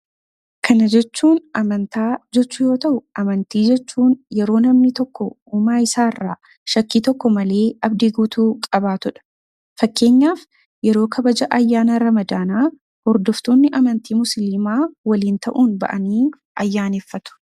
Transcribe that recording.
Kana jechuun amantaa jechuu yoo ta'u, amantii jechuun yeroo namni tokko uumaa isaarraa shakkii tokko malee abdii guutuu qabaatudha. Fakkeenyaaf yeroo kabaja ayyaana ramadaanaa hordoftoonni amantaa musliimaa waliin ta'uun bahanii ayyaaneffatu.